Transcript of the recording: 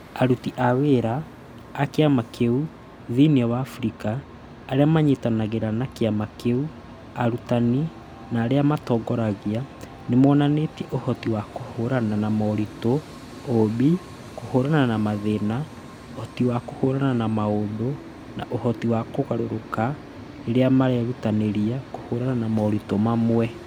Aruti a wĩra a kĩama kĩu thĩinĩ wa Afrika, arĩa maranyitanĩra na kĩama kĩu, arutani, na arĩa matongoragia nĩ monanĩtie ũhoti wa kũhũrana na moritũ, ũũmbi, kũhuũrana na mathĩna, ũhoti wa kũhũrana na maũndũ, na ũhoti wa kũgarũrũka rĩrĩa marerutanĩria kũhũrana na moritũ mamwe.